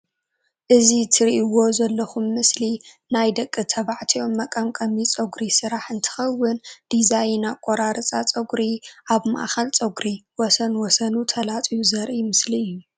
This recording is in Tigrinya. እዚ ትርእዎ ዘለኩም ምስሊ ናይ ደቂ ተባዕትዮ መቀምቀሚ ፀጉሪ ስራሕ እንትከውን ድዛይን ኣቆራርፃ ፀጉሪ ኣብ ማእከል ፀጉሪ ወሰን ወሰኑ ተላፅዩ ዘርኢ ምስሊ እዩ።